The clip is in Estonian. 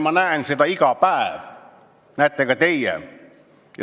Ma näen seda iga päev, näete ka teie.